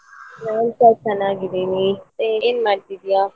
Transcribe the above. ನಾನು ಸ ಚೆನ್ನಾಗಿದ್ದೇನೆ ಮತ್ತೆ ಏನು ಮಾಡ್ತಿದೀಯಾ?